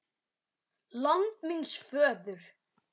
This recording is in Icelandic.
LAND MÍNS FÖÐUR